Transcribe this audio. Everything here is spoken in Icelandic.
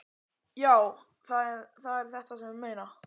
Já, það er þetta sem ég meina!